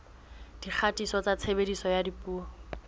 dikgatiso tsa tshebediso ya dipuo